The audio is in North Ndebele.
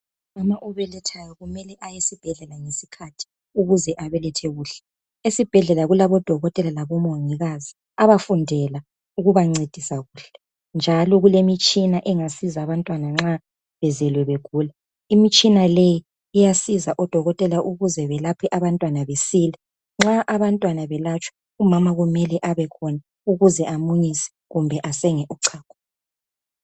Umama obelethayo mele ayesibhedlela ngesikhathi ukuze abelethe kuhle. Esibhedlela kulabodokotela labomongikazi abafundela ukubancedisa kuhle njalo kulemitshina esiza abantwana nxa bezelwe begula. Limitshina iyasiza odokotela ukwelapha abantwana basile njalo nxa umntwana eselatshwa umama kumele abekhona ukuze amunyise kumbe asenge uchago.